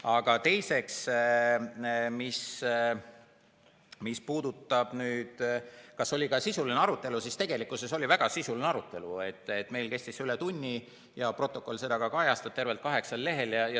Aga teiseks, mis puudutab seda, kas oli ka sisuline arutelu, siis tegelikkuses oli väga sisuline arutelu, see kestis üle tunni ja protokoll kajastab seda tervelt kaheksal lehel.